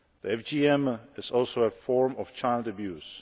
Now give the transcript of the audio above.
FGM is also a form of child abuse.